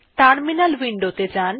terminal window তে যাjan